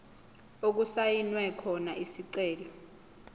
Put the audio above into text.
okusayinwe khona isicelo